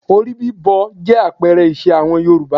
Orí bíbọ jẹ́ àpẹẹrẹ ìṣe àwọn Yorùbá